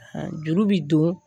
Juru bi don